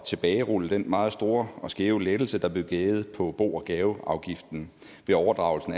tilbagerulle den meget store og skæve lettelse der blev givet på bo og gaveafgiften ved overdragelse